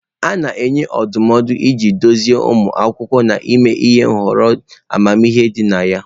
A na-enye ndụmọdụ iji duzie ụmụ akwụkwọ n'ime ihọrọ amamihe dị na ya.